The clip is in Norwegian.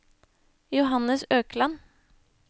Johannes Økland